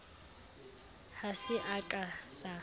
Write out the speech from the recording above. ha se a ka sa